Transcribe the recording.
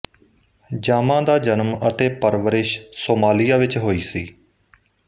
ਜਾਮਾ ਦਾ ਜਨਮ ਅਤੇ ਪਰਵਰਿਸ਼ ਸੋਮਾਲੀਆ ਵਿੱਚ ਹੋਈ ਸੀ